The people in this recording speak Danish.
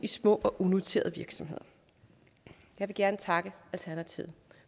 i små og unoterede virksomheder jeg vil gerne takke alternativet